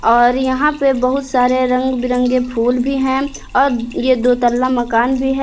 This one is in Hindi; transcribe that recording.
और यहां पे बहुत सारे रंग बिरंगे फूल भी हैं और ये दो तल्ला मकान भी है।